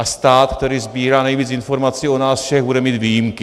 A stát, který sbírá nejvíc informací o nás všech, bude mít výjimky.